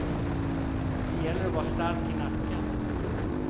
Det gäller att vara stark i nacken.